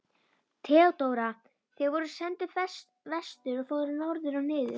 THEODÓRA: Þér voruð sendur vestur og fóruð norður og niður!